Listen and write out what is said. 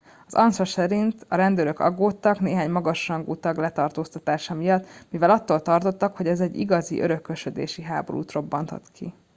"az ansa szerint "a rendőrök aggódtak néhány magas rangú tag letartóztatása miatt mivel attól tartottak hogy ez egy igazi örökösödési háborút robbanthat ki.